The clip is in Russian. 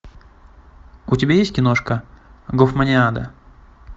у тебя есть киношка гофманиада